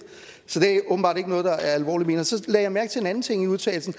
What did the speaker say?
så det er åbenbart ikke noget der er alvorligt ment så lagde jeg mærke til en anden ting i udtalelsen